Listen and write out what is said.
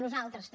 nosaltres també